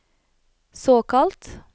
såkalt